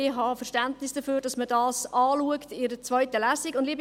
Ich habe Verständnis dafür, dass man dies in einer zweiten Lesung anschaut.